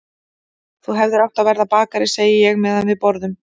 Þú hefðir átt að verða bakari, segi ég meðan við borðum.